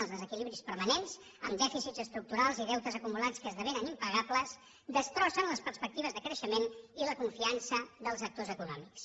els desequilibris permanents amb dèficits estructurals i deutes acumulats que esdevenen impagables destrossen les perspectives de creixement i la confiança dels actors econòmics